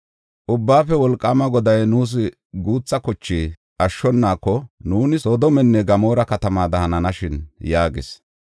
Ubbaafe Wolqaama Goday nuus guutha koche ashshonaako nuuni Soodomenne Gamoora katamaada hananashin” yaagis.